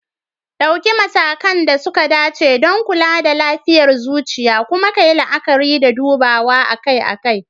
Ɗauki matakan da suka dace don kula da lafiyar zuciya, kuma kayi la'akari da dubawa akai-akai.